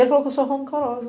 Ele falou que eu sou rancorosa.